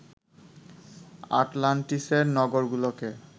আটলান্টিসের নগরগুলোকে